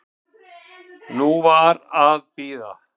Nú var að bíða.